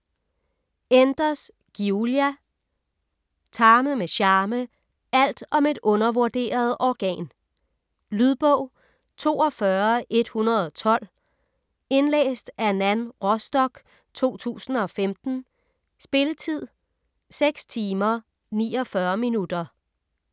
Enders, Giulia: Tarme med charme: alt om et undervurderet organ Lydbog 42112 Indlæst af Nan Rostock, 2015. Spilletid: 6 timer, 49 minutter.